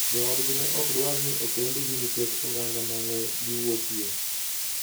Joodgi ne ok dwar ni okendgi nikech oganda ma ne giwuokie.